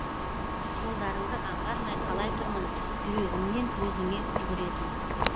жолдарыңды аңғармай қалай тұрмын жүрегімнен өзіңе жүгіретін